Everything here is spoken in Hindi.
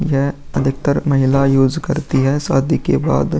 यह अधिकतर महिला यूज़ करती है शादी के बाद।